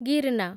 Girna